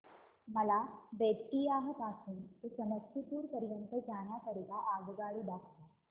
मला बेत्तीयाह पासून ते समस्तीपुर पर्यंत जाण्या करीता आगगाडी दाखवा